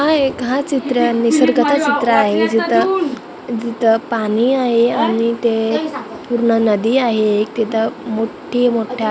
हा एक हा चित्र निसर्गाचा चित्र आहे जिथं जिथं पाणी आहे आणि ते पूर्ण नदी आहे एक तिथं मोठी मोठ्या--